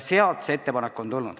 Sealt on see ettepanek tulnud.